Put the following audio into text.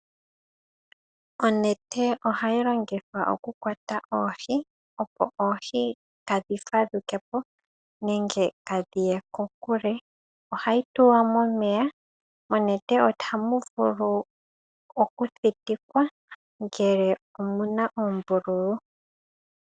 Onete ohayi longithwa oku kwata oohi opo oohi kaa dhi fadhukepo nenge kaa dhiye kokule, ohayi tulwa momeya onete ohamu vulu oku thitikwa ngele omuna oombululu.